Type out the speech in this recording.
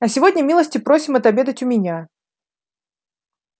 а сегодня милости просим отобедать у меня